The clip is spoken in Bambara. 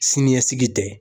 Siniɲɛsigi tɛ